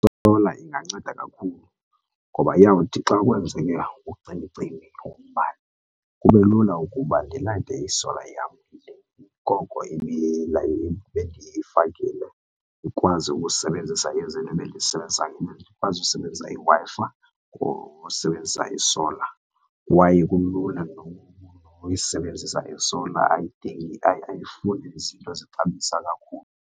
I-solar inganceda kakhulu ngoba iyawuthi xa kwenzeka ucimicimi wombane kube lula ukuba ndilayite i-solar yam le, koko bendiyifikile ndikwazi ukusebenzisa ezi zinto endizisebenzisayo ndikwazi ukusebenzisa iWi-Fi usebenzisa or ukusebenzisa i-solar. Kwaye kulula nokuyisebenzisa i-solar, ayidingi ayifuni izinto zixabisa kakhulu.